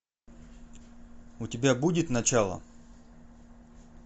у тебя будет начало